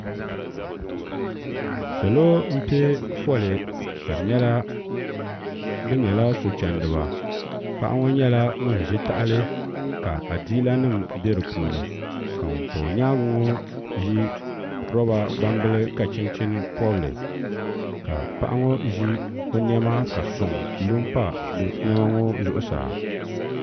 salo n piɛ foli ka di nyɛla bi nyɛla so chɛndiba paɣa ŋo nyɛla ŋun ʒi tahali ka adiila nim bɛ di puuni ka ŋun pa o nyaangi ŋo ʒi roba gbambili ka chinchin pobili ka paɣa ŋo ʒi o niɛma ka soŋ lo n pa zuɣusaa